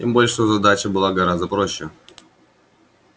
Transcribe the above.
тем более что задача была гораздо проще